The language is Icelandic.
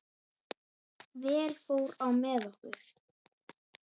Vel fór á með okkur.